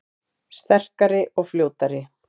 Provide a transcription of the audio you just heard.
Sterkari og fljótari